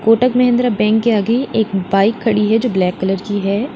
Kotak Mahindra bank के आगे एक बाइक खड़ी है जो ब्लैक कलर की है।